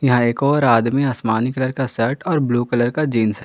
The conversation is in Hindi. यहां एक और आदमी आसमानी कलर का शर्ट और ब्लू कलर का जींस है।